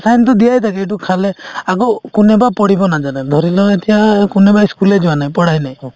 sign তো দিয়াই থাকে এইটো খালে আকৌ কোনেবা পঢ়িব নাজানে ধৰিলও এতিয়া কোনোবাই ই school য়ে যোৱা নাই পঢ়াই নাই